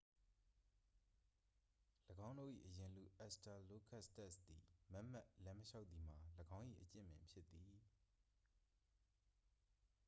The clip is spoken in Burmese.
၎င်းတို့၏ အရင်လူ အက်စ်စတာလိုကပီသက်စ် သည် မတ်မတ်လမ်းမလျှောက်သည်မှာ ၎င်း၏ အကျင့်ပင်ဖြစ်သည်